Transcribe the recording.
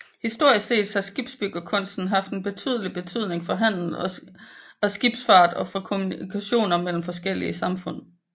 Historisk set har skibsbyggekunsten haft en betydelig betydning for handel og skibsfart og for kommunikationer mellem forskellige samfund